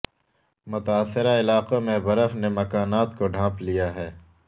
متاثرہ علاقوں میں برف نے مکانات کو ڈھانپ لیا ہے